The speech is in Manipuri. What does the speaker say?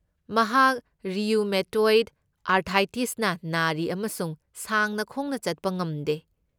ꯃꯍꯥꯛ ꯔꯤꯌꯨꯃꯦꯇꯣꯏꯗ ꯑꯔꯊ꯭ꯔꯥꯏꯇꯤꯁꯅ ꯅꯥꯔꯤ ꯑꯃꯁꯨꯡ ꯁꯥꯡꯅ ꯈꯣꯡꯅ ꯆꯠꯄ ꯉꯝꯗꯦ꯫